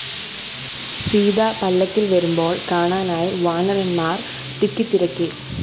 സീത പല്ലക്കില്‍ വരുമ്പോള്‍ കാണാനായി വാനരന്മാര്‍ തിക്കിത്തിരക്കി